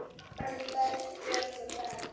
En Bjarni Ben.